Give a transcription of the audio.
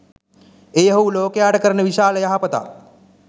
එය ඔහු ලෝකයාට කරන විශාල යහපතක්.